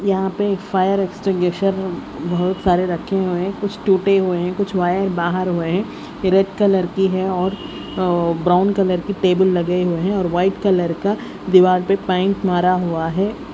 यहां पे एक फायर एक्सटीगेशर बहुत सारे रखे हुए हैं कुछ टूटे हुए हैं कुछ वायर बाहर हुए हैं रेड कलर की है और अह ब्राउन कलर की टेबूल लगे हुए हैं और व्हाइट कलर का दीवार पे पेंट मारा हुआ है।